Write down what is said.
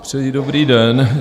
Přeji dobrý den.